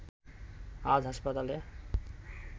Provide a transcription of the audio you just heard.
আজ হাসপাতালে